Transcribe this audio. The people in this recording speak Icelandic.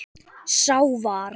Sá var